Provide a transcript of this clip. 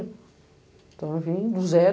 Então, eu vim do zero.